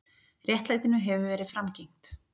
Réttlætinu hefur verið framgengt.